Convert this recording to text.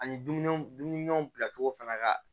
Ani dumuni dumuniw bila cogo fana ka